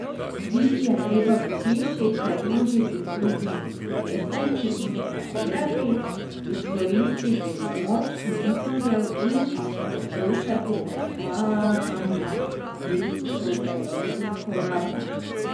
Biti je treba v hiši, se družiti z drugimi podjetniki in debatirati, izkoristiti pomoč mentorjev in poslušati predavanja, ki so zelo uporabna.